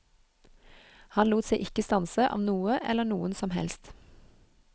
Han lot seg ikke stanse av noe eller noen som helst.